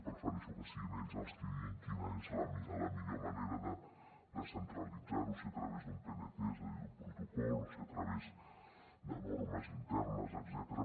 prefereixo que siguin ells els qui diguin quina és la millor manera de descentralitzar ho si a través d’un pnt és a dir d’un protocol o si a través de normes internes etcètera